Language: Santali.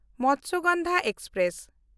ᱢᱚᱛᱥᱚᱜᱚᱱᱫᱷᱟ ᱮᱠᱥᱯᱨᱮᱥ